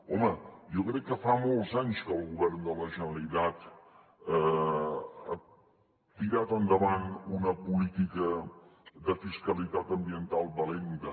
home jo crec que fa molts anys que el govern de la generalitat ha tirat endavant una política de fiscalitat ambiental valenta